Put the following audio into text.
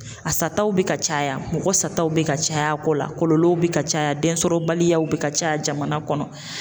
A sataw bɛ ka caya, mɔgɔ sataw bɛ ka caya a ko la, kɔlɔlɔw bɛ ka caya den sɔrɔbaliyaw bɛ ka caya jamana kɔnɔ.